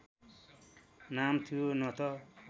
नाम थियो न त